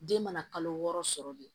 Den mana kalo wɔɔrɔ sɔrɔ de